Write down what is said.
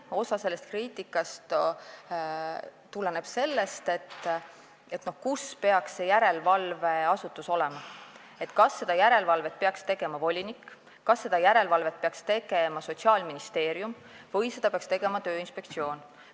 Osa sellest kriitikast käib selle kohta, kes peaks seda järelevalvet tegema, kas seda peaks tegema volinik, Sotsiaalministeerium või Tööinspektsioon.